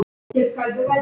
Er sagan komin?